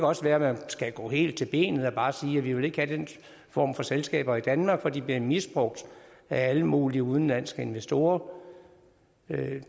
også være man skal gå helt ind til benet og bare sige at vi ikke vil have den form for selskaber i danmark fordi de bliver misbrugt af alle mulige udenlandske investorer